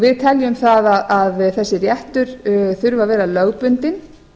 við teljum það að þessi réttur þurfi að vera lögbundinn